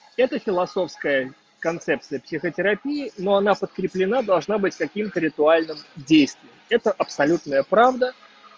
философская концепция психотерапии но она подкреплена должна быть каким-то ритуальным действием это абсолютная правда